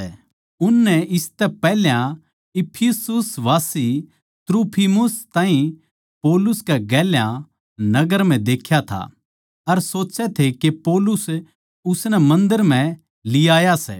उननै इसतै पैहल्या इफिसुसवासी त्रुफिमुस ताहीं पौलुस कै गेल्या नगर म्ह देख्या था अर सोचै थे के पौलुस उसनै मन्दर म्ह लीयाया सै